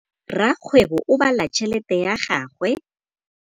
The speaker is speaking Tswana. Rakgwêbô o bala tšheletê ya gagwe.